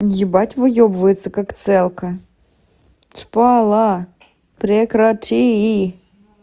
ебать выёбывается как целка шпала прекрати